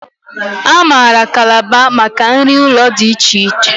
A maara Kalaba maka nri ụlọ dị iche iche